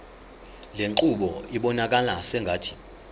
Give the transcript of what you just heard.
lenqubo ibonakala sengathi